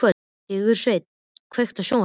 Sigursveinn, kveiktu á sjónvarpinu.